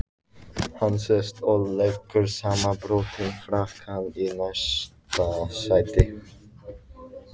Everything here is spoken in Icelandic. Hann sest og leggur samanbrotinn frakkann í næsta sæti.